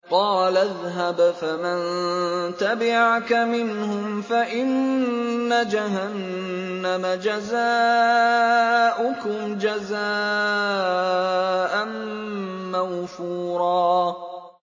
قَالَ اذْهَبْ فَمَن تَبِعَكَ مِنْهُمْ فَإِنَّ جَهَنَّمَ جَزَاؤُكُمْ جَزَاءً مَّوْفُورًا